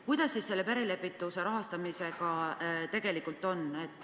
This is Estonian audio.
Kuidas siis selle perelepituse rahastamisega tegelikult on?